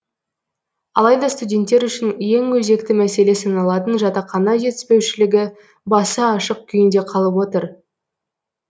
алайда студенттер үшін ең өзекті мәселе саналатын жатақхана жетіспеушілігі басы ашық күйінде қалып отыр